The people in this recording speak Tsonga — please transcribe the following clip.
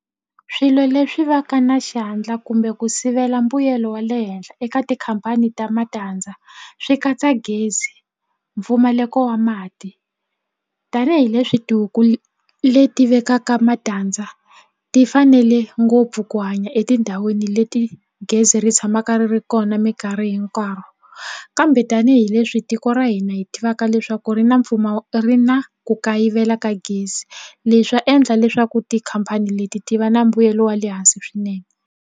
Swilo leswi va ka na xandla kumbe ku sivela mbuyelo wa le henhla eka tikhampani ta matandza swi katsa gezi mpfumaleko wa mati tanihileswi tihuku leti vekaka matandza ti fanele ngopfu ku hanya etindhawini leti gezi ri tshamaka ri ri kona mikarhi hinkwayo kambe tanihileswi tiko ra hina hi tivaka leswaku ri na ri na ku kayivela ka gezi leswi swi ta endla leswaku tikhampani leti ti va na mbuyelo wa le hansi swinene.